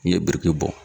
N'i ye biriki bɔ